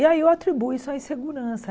E aí eu atribuo isso à insegurança.